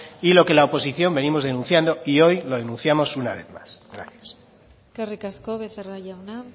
y lo que la oposición venimos denunciando y hoy lo denunciamos una vez más gracias eskerrik asko becerra jauna